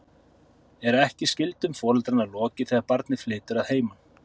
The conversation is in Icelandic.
Er ekki skyldum foreldranna lokið þegar barnið flytur að heiman?